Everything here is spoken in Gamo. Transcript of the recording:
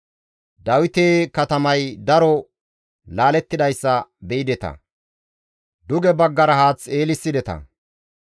Dawite katamay daro laalettidayssa be7ideta; duge baggara haath eelissideta.